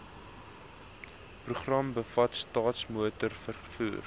program bevat staatsmotorvervoer